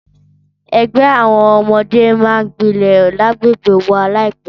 Ẹgbẹ́ àwọn ọdẹ máa gbilẹ̀ lágbègbè wà láìpẹ́.